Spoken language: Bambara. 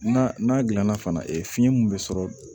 Na n'a gilanna fana e fiɲɛ mun bɛ sɔrɔ